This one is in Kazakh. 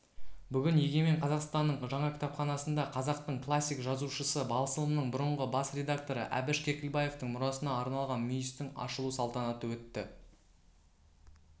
бүгін егемен қазақстанның жаңа кітапханасында қазақтың классик жазушысы басылымның бұрынғы бас редакторы әбіш кекілбаевтың мұрасына арналған мүйістің ашылу салтанаты өтті